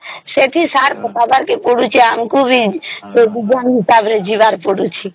ସେଠି ସାର ପକବାରେ ଆମକୁ ବିଯିବାର ପଡୁଛି